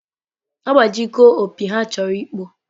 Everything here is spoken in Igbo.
Agbaji go opi ha chọrọ ịkpọ.